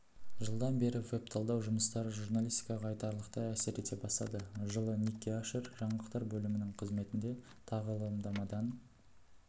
жылдан бері веб-талдау жұмыстары журналистикаға айтарлықтай әсер ете бастады жылы никки ашер жаңалықтар бөлімінің қызметінде тағылымдамадан